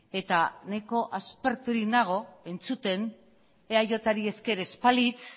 eta nahiko asperturik nago entzuten eajri esker ez balitz